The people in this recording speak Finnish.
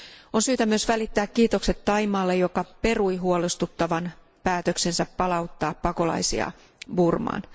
On syytä myös välittää kiitokset Thaimaalle, joka perui huolestuttavan päätöksensä palauttaa pakolaisia Burmaan.